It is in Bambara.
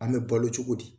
An bɛ balo cogo di